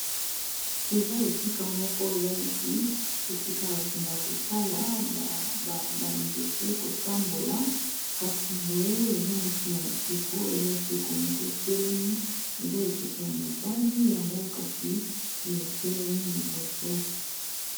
Eza esika moko eza neti esika ya bakendeka kotala ba nzete kotambola kasi boye eza neti na ekeko eza ekeko moko etelemi eza ekeko ya mobali yango kasi etelemi liboso.